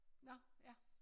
Nå ja